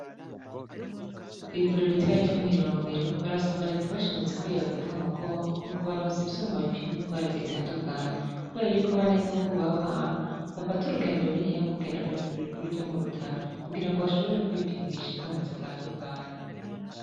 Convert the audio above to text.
Ku ivuriro ritoyi ryo Mw'Irongero barasaba reta bashimimitse ko yobafata mu mugongo bakabaronsa ivyuma bipima ingwara zitandukanye kubera yuko abanyagihugu baho hantu bafata urugendo runiniya mu kugenda kw'ivuriro rininiya ryo Murutana kugirngo bashobore kwipimisha ingwara zitanduknye.